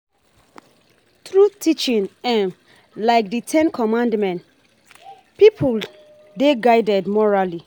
Through teaching um like di ten commandment, pipo dey guided morally